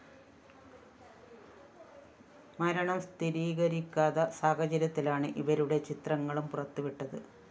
മരണം സ്ഥിരീകരിക്കാത്ത സാഹചര്യത്തിലാണ് ഇവരുടെ ചിത്രങ്ങളും പുറത്തുവിട്ടത്